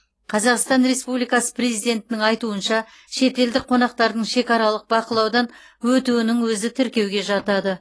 қазақстан республикасы президентінің айтуынша шетелдік қонақтардың шекаралық бақылаудан өтуінің өзі тіркеуге жатады